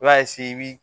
I b'a i b'i